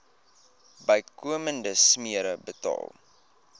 bykomende smere betaal